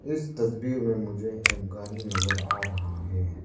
इस तस्वीर में मुझे एक गाड़ी नजर आ रहा है।